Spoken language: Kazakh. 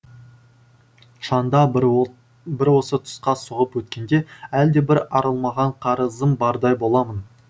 шанда бір бір осы тұсқа соғып өткенде әлдебір арылмаған қарызым бардай боламын